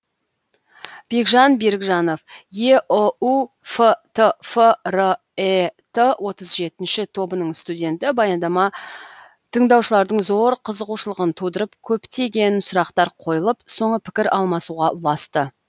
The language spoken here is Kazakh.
бекжан берікжанов еұу фтф рэт отыз жетінші тобының студенті баяндама тыңдаушылардың зор қызығушылығын тудырып көптеген сұрақтар қойылып соңы пікір алмасуға ұласты